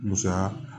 Musa